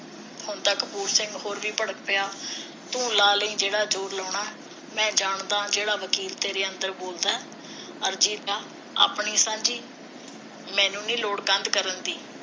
ਹੁਣ ਤਾਂ ਕਪੂਰ ਸਿੰਘ ਹੋਰ ਵੀ ਭੜਕ ਪਿਆ ਤੂੰ ਲਾ ਲਈ ਜਿਹੜਾ ਜੋਰ ਲਾਉਣਾ ਮੈਂ ਜਾਣਦਾ ਜਿਹੜਾ ਵਕੀਲ ਤੇਰੇ ਅੰਦਰ ਬੋਲਦਾ ਅਰਜੀ ਤਾਂ ਆਪਣੀ ਸਾਂਝੀ ਮੈਂਨੂੰ ਨੀ ਲੋੜ ਕੰਧ ਕਰਨ ਦੀ